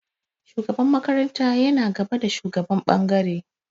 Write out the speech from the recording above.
Shugaban makaranta yana gaba da shugaban ɓangare.